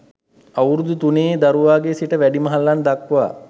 අවුරුදු තුනේ දරුවාගේ සිට වැඩිමහල්ලන් දක්වා